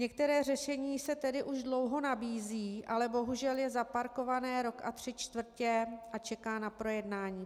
Některé řešení se tedy už dlouho nabízí, ale bohužel je zaparkované rok a tři čtvrtě a čeká na projednání.